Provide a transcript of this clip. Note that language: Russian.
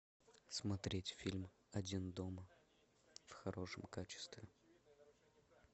смотреть фильм один дома в хорошем качестве